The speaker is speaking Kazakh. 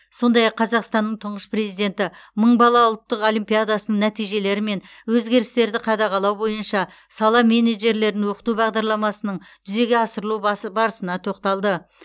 сондай ақ қазақстанның тұңғыш президенті мың бала ұлттық олимпиадасының нәтижелері мен өзгерістерді қадағалау бойынша сала менеджерлерін оқыту бағдарламасының жүзеге асырылу барысына тоқталды